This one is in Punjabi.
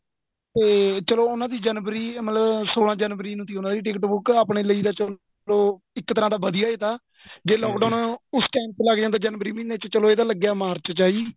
ਤੇ ਚੱਲੋ ਉਹਨਾ ਦੀ ਜਨਵਰੀ ਮਤਲਬ ਸੋਲਾਂ ਜਨਵਰੀ ਨੂੰ ਸੀ ਤੀ ਉਹਨਾ ਦੀ ticket ਬੁੱਕ ਆਪਣੇ ਲੈ ਤਾਂ ਚੱਲੋ ਇੱਕ ਤਰ੍ਹਾਂ ਦਾ ਵਧੀਆਂ ਹੀ ਥਾ ਜੇ lock down ਉਸ time ਤੇ ਲੱਗ ਜਾਂਦਾ ਜਨਵਰੀ ਮਹੀਨੇ ਚ ਚੱਲੋ ਇਹ ਤਾਂ ਲੱਗਿਆ ਮਾਰਚ ਚ ਹੈ ਜੀ